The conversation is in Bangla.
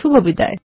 শুভবিদায়